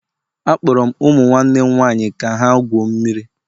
Akpọrọ m ụmụ nwanne m nwaanyị ka ha gwuo mmiri